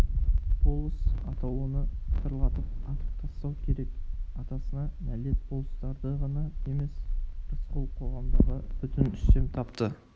болыс атаулыны пытырлатып атып тастау керек атасына нәлет болыстарды ғана емес рысқұл қоғамдағы бүтін үстем тапты